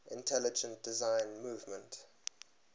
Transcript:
intelligent design movement